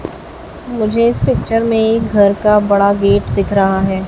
मुझे इस पिक्चर में घर का बड़ा गेट दिख रहा है।